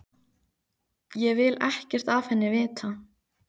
Ég vil ekkert af henni vita.